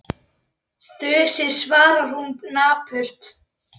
Þusið, svarar hún napurt.